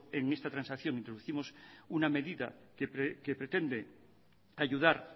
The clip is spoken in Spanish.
en esta transacción introducimos una medida que pretende ayudar